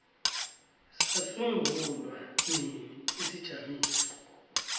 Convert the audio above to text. sasungulwa nini isijamiso